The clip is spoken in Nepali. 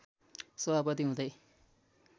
सभापति हुँदै